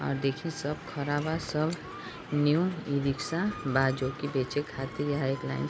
और देखिए सब खड़ा बा सब न्यू ई-रिक्शा बा जो बेचे कहतीर यहाँ एक लाइन से --